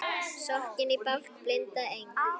Sokkinn í bálk blinda Eng